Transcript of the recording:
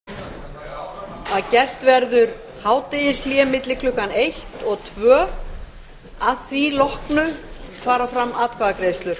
forseti vill geta þess að gert verður hádegishlé milli klukkan eitt og annað að því loknu fara fram atkvæðagreiðslur